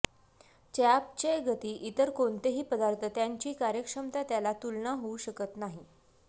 चयापचय गति इतर कोणतेही पदार्थ त्यांची कार्यक्षमता त्याला तुलना होऊ शकत नाही